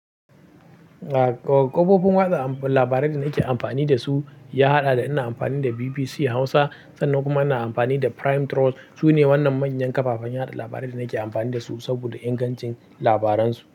A ƙofofin watsa labarai da nake amfani da su, ya haɗa da ina amfani da BBC Hausa sannan kuma ina amfani da Prime Trust. Su ne wannan manyan ƙafafen yaɗa labarai da nake amfani da su saboda ingancin labaran su.